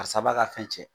Karisa b'a ka fɛn cɛn